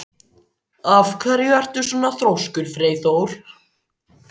Af hverju ertu svona þrjóskur, Freyþór?